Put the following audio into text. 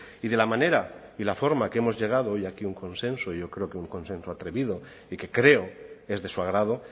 y de la manera y la forma que hemos llegado hoy aquí a un consenso yo creo que un consenso atrevido y que creo es de su agrado